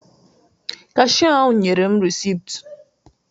Kashia ahụ nyere m reesit